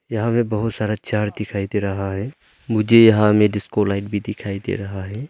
यहां मे बहुत सारा चार दिखाई दे रहा है मुझे यहां में डिस्को लाइट भी दिखाई दे रहा है।